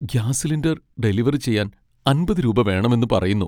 Gas cylinder delivery ചെയ്യാൻ അമ്പത് രൂപ വേണമെന്ന് പറയുന്നു.